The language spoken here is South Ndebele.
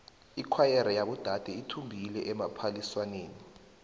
ikhwayere yabodade ithumbile ephaliswaneni